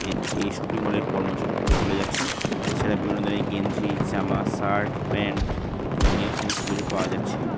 এ এই শপিং মলের কর্মচারী হেঁটে চলে যাচ্ছেন এছাড়া বিভিন্ন ধরনের গেঞ্জি জামা শার্ট প্যান্ট জাংগিয়া সমস্ত কিছু পাওয়া যাচ্ছে।